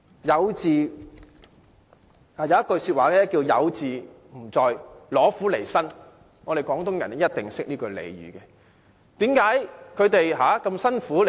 有這樣一句話："有自唔在，攞苦嚟辛"，相信廣東人一定懂得這句俚語。